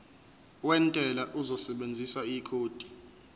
wentela uzosebenzisa ikhodi